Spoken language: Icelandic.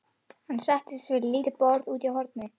Hann settist við lítið borð úti í horni.